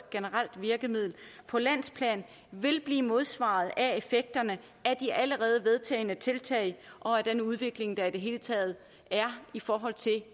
generelt virkemiddel på landsplan vil blive modsvaret af effekterne af de allerede vedtagne tiltag og af den udvikling der i det hele taget sker i forhold til